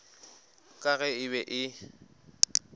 ka ge e be e